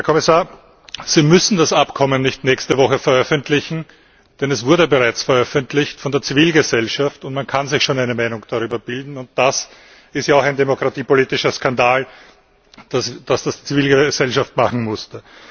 Herr Kommissar, Sie müssen das Abkommen nicht nächste Woche veröffentlichen, denn es wurde bereits von der Zivilgesellschaft veröffentlicht. Man kann sich schon eine Meinung darüber bilden, und das ist ja auch ein demokratiepolitischer Skandal, dass das die Zivilgesellschaft machen musste.